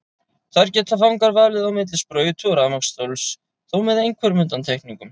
Þar geta fangar valið á milli sprautu og rafmagnsstóls, þó með einhverjum undantekningum.